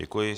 Děkuji.